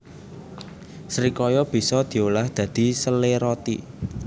Srikaya bisa diolah dadi sele roti